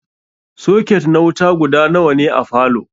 Soket na wuta guda nawa ne a falow?